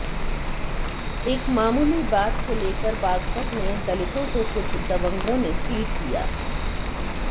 एक मामूली बात को लेकर बागपात में दलितों को कुछ दबंगों ने पीट दिया